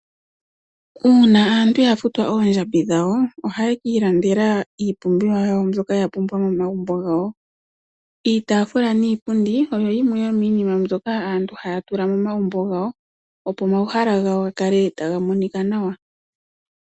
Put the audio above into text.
Uuna aantu ya futwa oondjambi dhawo ohaye kiilandela iipumbiwa yawo mbyoka ya pumbwa momagumbo gawo. Iitaafula niipundi oyo yimwe yomiinima mbyoka aantu haya tula momagumbo gawo opo omahala gawo ga kale taga monika nawa.